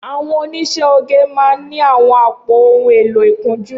Awọn óniṣẹ̀ ógé mà n ni awọn àpó óhùn éló ikùnjù